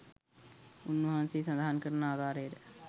උන්වහන්සේ සඳහන් කරන ආකාරයට